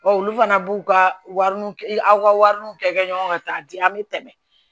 olu fana b'u ka wari nun aw ka wari nun kɛ ɲɔgɔn ka taa di an bɛ tɛmɛ